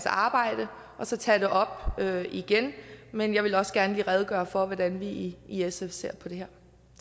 arbejde og så tage det op igen men jeg ville også gerne lige redegøre for hvordan vi i sf ser på det